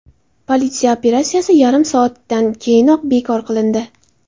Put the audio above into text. Politsiya operatsiyasi yarim soatdan keyinoq bekor qilindi.